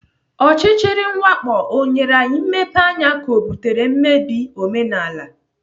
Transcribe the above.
Ọchịchịrị mwakpo ọ nyere anyị mmepeanya ka ọ butere mmebi omenala?